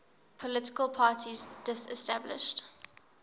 political parties disestablished